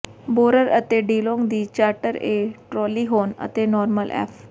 borer ਅਤੇ DeLong ਦੀ charter A ਟ੍ਰੈਲੀਹੋਰਨ ਅਤੇ ਨੋਰਮਨ ਐੱਫ